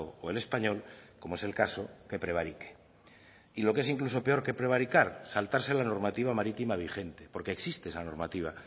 o el español como es el caso que prevarique y lo que es incluso peor que prevaricar saltarse la normativa marítima vigente porque existe esa normativa